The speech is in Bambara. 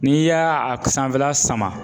N'i y'a a sanfɛla sama